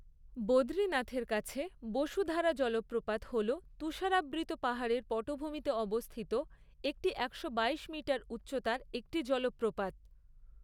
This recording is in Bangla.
বদ্রীনাথের কাছে বসুধারা জলপ্রপাত হল তুষারাবৃত পাহাড়ের পটভূমিতে অবস্থিত একটি একশো বাইশ মিটার উচ্চতার একটি জলপ্রপাত।